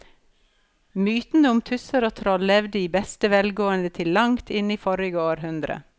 Mytene om tusser og troll levde i beste velgående til langt inn i forrige århundre.